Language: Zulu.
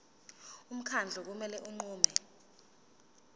umkhandlu kumele unqume